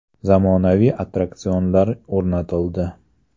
Zamonaviy attraksionlar o‘rnatildi.